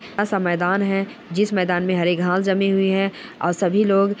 सा मैदान है जिस मैदान में हरे घांस जमे हुए हैं और सभी लोग --